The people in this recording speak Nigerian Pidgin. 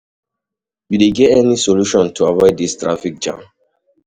You dey get any solution to avoid dis traffic jam?